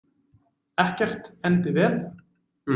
Ekkert endi vel.